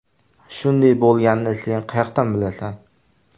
Shunday bo‘lganini sen qayoqdan bilasan?